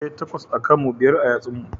E, takwas a kan mu, biyar a yatsun mu.